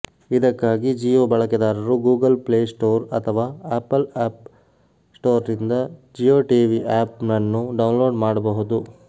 ಇದಕ್ಕಾಗಿ ಜಿಯೋ ಬಳಕೆದಾರರು Google Play Store ಅಥವಾ ಆಪಲ್ ಆಪ್ ಸ್ಟೋರ್ನಿಂದ ಜಿಯೋಟಿವಿ ಆ್ಯಪ್ ಅನ್ನು ಡೌನ್ಲೋಡ್ ಮಾಡಬಹುದು